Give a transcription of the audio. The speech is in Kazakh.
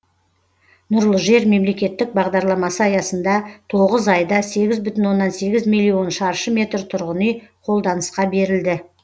нұрлы жер мемлекеттік бағдарламасы аясында тоғыз айда сегіз бүтін оннан сегіз миллион шаршы метр тұрғын үй қолданысқа берілді